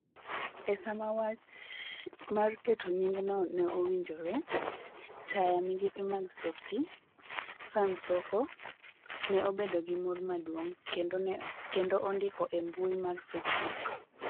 E sama wach mar keto nyingno ne owinjore, taya migepe mag Softie, Sam Soko, ne obedo gi mor maduong', kendo ondiko e mbui mar facebook: